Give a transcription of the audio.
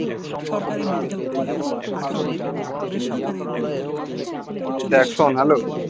দেখ শোন্ hello